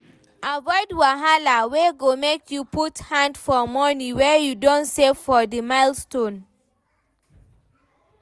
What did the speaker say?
Avoid wahala wey go make you put hand for money wey you don save for di milestone